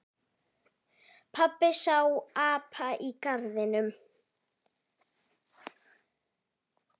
Pabbi sá apa í garðinum.